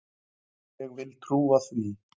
Ég vil trúa því.